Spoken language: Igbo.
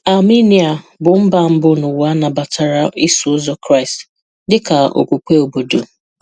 Armenia bụ mba mbụ n'ụwa nabatara Iso Ụzọ Kraịst dị ka okpukpe obodo.